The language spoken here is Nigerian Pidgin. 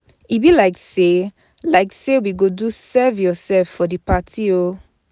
E be like sey like sey we go do serve-yoursef for di party o.